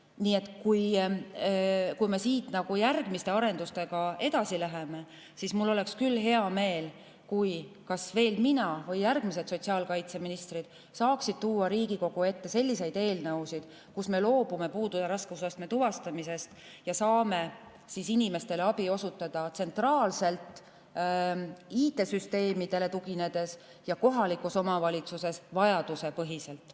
Nii et kui me siit järgmiste arendustega edasi läheme, siis mul oleks hea meel, kui kas mina või järgmised sotsiaalkaitseministrid saaks tuua Riigikogu ette selliseid eelnõusid, kus me loobume puude raskusastme tuvastamisest ja saame inimestele abi osutada tsentraalselt, IT‑süsteemidele tuginedes, ja kohalikus omavalitsuses vajadusepõhiselt.